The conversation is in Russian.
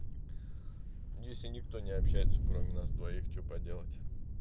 если никто не общается кроме нас двоих что поделать